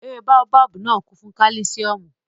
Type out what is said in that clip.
Ewé báóbábù náà kún fún kálísíọ̀mù